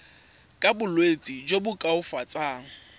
ka bolwetsi jo bo koafatsang